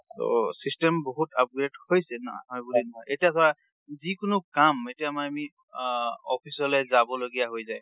ট system বহুত upgrade হৈছে ন । এতিয়া ধৰা যিকোনো কাম, এতিয়া আমি আ office অলে যাব লগিয়া হৈ যাই,